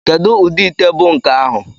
Kedu ụdị ite bụ nke ahụ?